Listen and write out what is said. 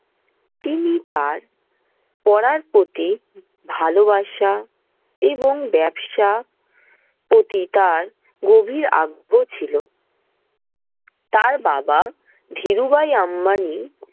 তিনি তার পড়ার প্রতি ভালোবাসা এবং ব্যবসা প্রতি তার গভীর আগ্রহ ছিল। তার বাবা ধীরুভাই আম্বানি